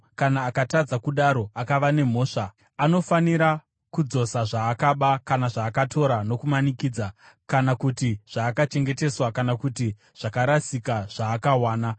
kana akatadza kudaro akava nemhosva, anofanira kudzosa zvaakaba kana zvaakatora nokumanikidza, kana kuti zvaakachengeteswa kana kuti zvakarasika zvaakawana,